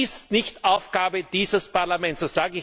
Das ist nicht Aufgabe dieses Parlaments!